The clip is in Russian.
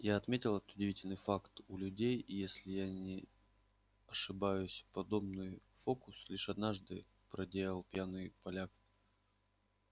я отметил этот удивительный факт у людей если я не ошибаюсь подобный фокус лишь однажды проделал пьяный поляк